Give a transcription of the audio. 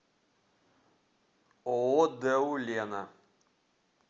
ооо дэу лена